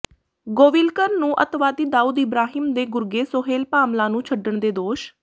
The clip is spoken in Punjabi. ਗੋਵਿਲਕਰ ਨੂੰ ਅੱਤਵਾਦੀ ਦਾਊਦ ਇਬ੍ਰਾਹਿਮ ਦੇ ਗੁਰਗੇ ਸੋਹੇਲ ਭਾਮਲਾ ਨੂੰ ਛੱਡਣ ਦੇ ਦੋਸ਼